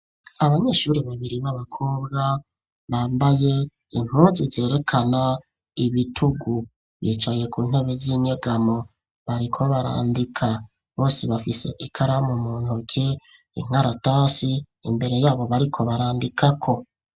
Abanyeshuri babiri b'abakobwa bambaye impuzu zerekana ibitugu. Bicaye ku ntebe z'inyegamo, bariko barandika. Bose bafise ikaramu mu ntoke, inkaratasi imbere yabo bariko barandikako.